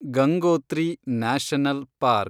Gangotri national park